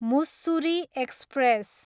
Mussoorie express